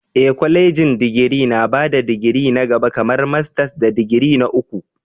Ee, kwalejin digiri na ba da digiri na gaba kamar masters da digiri na uku.